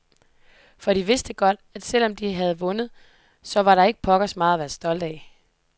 For de vidste godt, at selv om de havde vundet, så var der ikke pokkers meget at være stolte af.